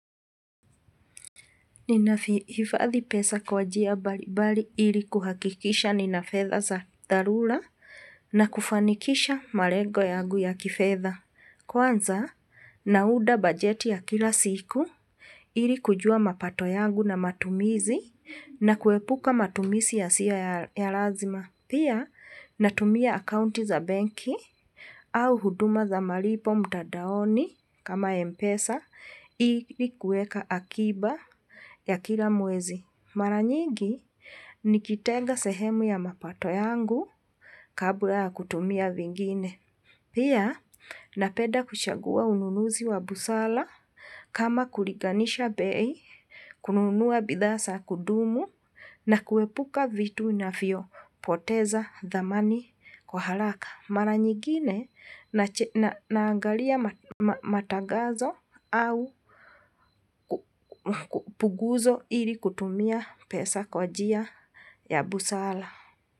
Ninavihifadhi pesa kwa njia mbalimbali ili kuhakikisha nina fedha za dharula na kufanikisha malego yangu ya kifedha. Kwanza, naunda bajeti ya kila siku ili kujua mapato yangu na matumizi na kuepuka matumizi yasio ya lazima. Pia, natumia akaunti za benki au huduma za malipo mtandaoni kama mpesa ili kuweka akiba ya kila mwezi. Mara nyingi, nikitega sehemu ya mapato yangu kabla ya kutumia vingine. Pia, napenda kuchangua ununuzi wa busara kama kulinganisha bei, kununua bidhaa za kudumu na kuepuka vitu vinavyopoteza dhamani kwa haraka. Mara nyingine, naangalia matagazo au puguzo ili kutumia pesa kwa njia ya busara.